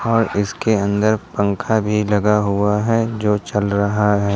और इसके अंदर पंखा भी लगा हुआ है जो चल रहा है।